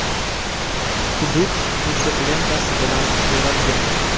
Hudud to‘siq lentasi bilan o‘ralgan.